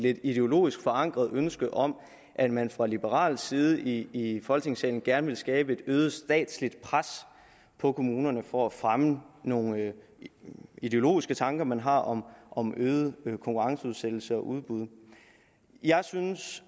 lidt ideologisk forankret ønske om at man fra liberal side i folketingssalen gerne vil skabe et øget statsligt pres på kommunerne for at fremme nogle ideologiske tanker man har om om øget konkurrenceudsættelse og udbud jeg synes